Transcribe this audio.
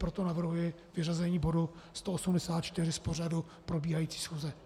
Proto navrhuji vyřazení bodu 184 z pořadu probíhající schůze.